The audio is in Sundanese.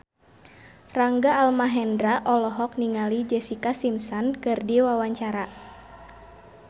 Rangga Almahendra olohok ningali Jessica Simpson keur diwawancara